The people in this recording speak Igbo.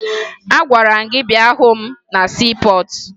Agwara m gị bịa hụ m na siipọọtụ!